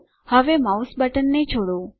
હવે માઉસ બટનને છોડો